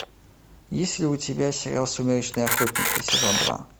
есть ли у тебя сериал сумеречные охотники сезон два